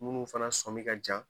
Munnu fana sɔmin ka jan